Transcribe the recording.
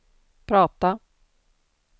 prata